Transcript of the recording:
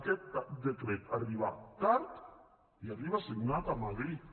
aquest decret arriba tard i arriba signat a madrid